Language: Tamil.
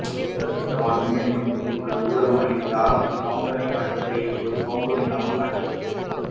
சதீஷ் தவான் விண்வெளி மையத்தில் உள்ள ஊடக மையத்தில் ஆரம்பத்தில் கவுண்ட்டவுனைக் காட்டியதிரை இப்போது கவுண்ட்டவுன் இல்லாமல் காட்சியளிக்கிறது